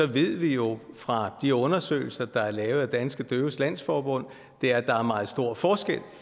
vi ved jo fra de undersøgelser der er lavet af danske døves landsforbund at der er meget stor forskel